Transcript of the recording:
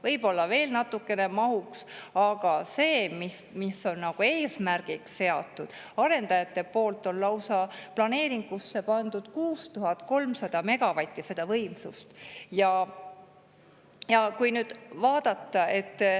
Võib-olla veel natukene mahuks, aga see, mille arendajad on eesmärgiks seadnud ja planeeringusse pannud, on lausa 6300 megavatti võimsust.